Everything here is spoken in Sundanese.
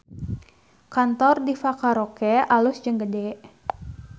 Kantor Diva Karaoke alus jeung gede